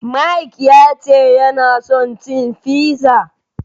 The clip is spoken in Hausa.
Mike ya ce yana son cin fizza.